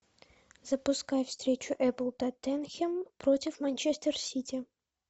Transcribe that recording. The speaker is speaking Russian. запускай встречу апл тоттенхэм против манчестер сити